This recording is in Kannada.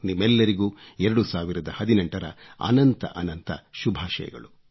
ನಿಮ್ಮೆಲ್ಲರಿಗೂ 2018 ರ ಅನಂತ ಅನಂತ ಶುಭಾಶಯಗಳು